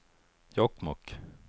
Jokkmokk